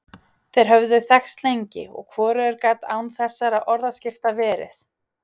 Þeir höfðu þekkst lengi, og hvorugur gat án þessara orðaskipta verið.